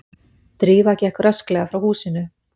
Drífa gekk rösklega frá húsinu.